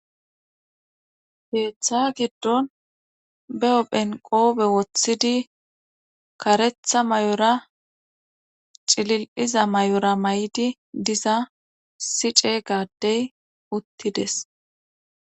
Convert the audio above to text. heeththa giddon be7o huphe nqoobe woththidi karetha may7ora cilil7iza may7ora may7di diza sice gaaddey uttides